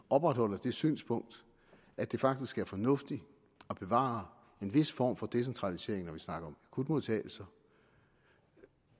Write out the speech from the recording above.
opretholder det synspunkt at det faktisk er fornuftigt at bevare en vis form for decentralisering når vi snakker om akutmodtagelser